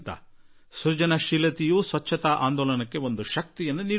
ಸೃಜನಶೀಲತೆಯು ಸ್ವಚ್ಛತಾ ಆಂದೋಲನಕ್ಕೆ ಶಕ್ತಿ ತುಂಬಬಲ್ಲದು